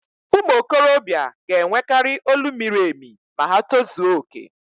ụmụ okorobịa ga-enwekari olu miri emi ma ha tozuo okè